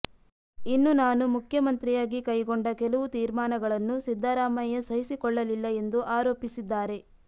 ಇನ್ನು ನಾನು ಮುಖ್ಯಮಂತ್ರಿಯಾಗಿ ಕೈಗೊಂಡ ಕೆಲವು ತೀರ್ಮಾನಗಳನ್ನು ಸಿದ್ದರಾಮಯ್ಯ ಸಹಿಸಿಕೊಳ್ಳಲಿಲ್ಲ ಎಂದು ಆರೋಪಿಸಿದ್ದಾರೆ